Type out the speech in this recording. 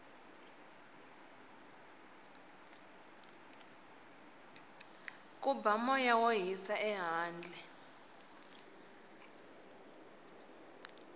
ku ba moya wo hisa ehandle